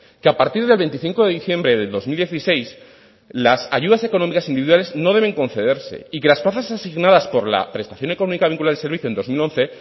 que a partir del veinticinco de diciembre de dos mil dieciséis las ayudas económicas individuales no deben concederse y que las plazas asignadas por la prestación económica vinculada al servicio en dos mil once